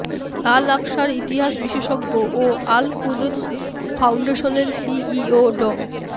আল আকসার ইতিহাস বিশেষজ্ঞ ও আল কুদস ফাউন্ডেশনের সিইও ড